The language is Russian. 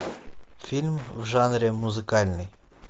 фильм в жанре музыкальный